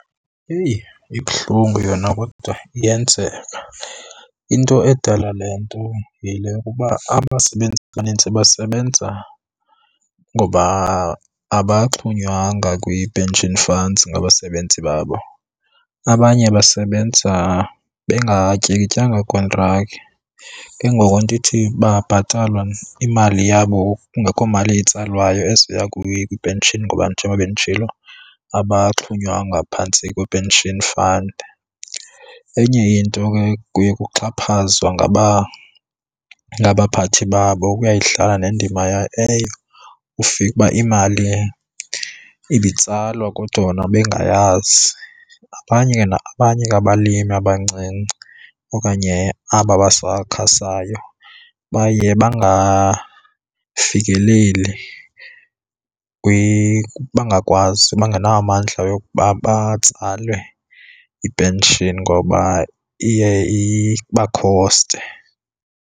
Eyi, ibuhlungu yona kodwa iyenzeka. Into edala le nto yile yokuba abasebenzi abaninzi basebenza ngoba abaxhonywanga kwii-pension funds ngabasebenzi babo. Abanye basebenza bengatyikityanga kontraki. Ke ngoku andithi bayabhatalwa imali yabo kungekho mali itsalwayo ezoya kwi-pension ngoba njengoba benditshilo abaxhonywanga phantsi kwe-pension fund. Enye into ke kuye kuxhaphazwa ngabaphathi babo kuyayidlala nendima eyo ufika imali ibitsalwa kodwa yona bengayazi. Abanye ke abalimi abancinci okanye aba basakhasayo baye bangafikeleli bangakwazi bangenawo amandla yokuba batsale i-pension ngoba iye iba khoste.